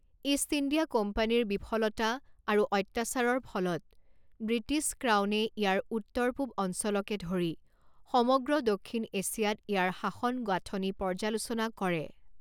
East India কোম্পানীৰ বিফলতা আৰু অত্যাচাৰৰ ফলত ব্ৰিটিছ ক্ৰাউনে ইয়াৰ উত্তৰ পূব অঞ্চলকে ধৰি সমগ্ৰ দক্ষিণ এছিয়াত ইয়াৰ শাসন গাঁথনি পৰ্যালোচনা কৰে।